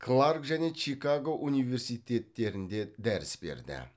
кларк және чикаго университеттерінде дәріс берді